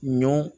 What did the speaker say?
Ɲɔn